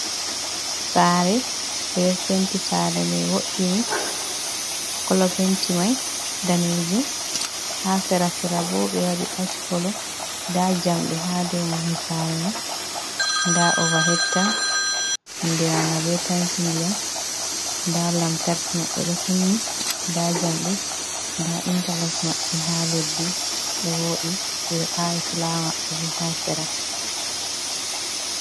Saare, ɓe ɗo penti saare may wo’ini, kolo penti may daneejum, haa sera-sera bo, ɓe waɗi ach kolo, nda jamɗe haa dow mahol saare may, nda ova het tank andiraanga be tenki ndiyam, nda lamtarki maɓɓe ɗo kunni, nda jamɗe, nda intalok maɓɓe haa leddi, ɗo wooɗi ɓe ɗo aawi fulaawa maɓɓe bo haa sera.